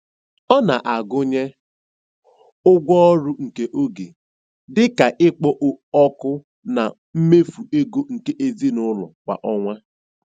Ọ na-agụnye ụgwọ ọrụ nke oge, dị ka ikpo ọkụ, na mmefu ego nke ezinụụlọ kwa ọnwa.